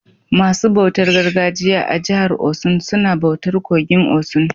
Masu bautar gargajiya a jihar Osun suna bautar kogin osun.